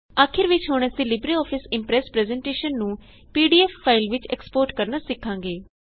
ਆਖਿਰ ਵਿੱਚ ਹੁਣ ਅਸੀਂ ਲਿਬਰੇਆਫਿਸ ਇਮਪ੍ਰੈਸ ਪਰੈੱਜ਼ਨਟੇਸ਼ਨ ਨੂੰ ਪੀਡੀਐਫ ਫਾਇਲ ਵਿੱਚ ਐਕਸਪੋਰਟ ਕਰਨਾ ਸਿਖਾਂਗੇ